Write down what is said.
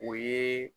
O ye